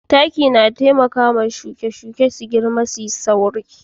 Taki na taimaka wa shuke-shuke girma da sauri